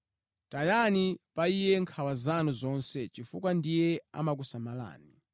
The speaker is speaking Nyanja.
Tayani pa Iye nkhawa zanu zonse chifukwa ndiye amakusamalani.